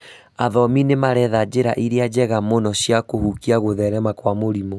Athomi nĩmaretha njĩra irĩa njega mũno cia kũhukia gũtherema kwa mũrimũ